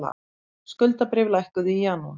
Skuldabréf lækkuðu í janúar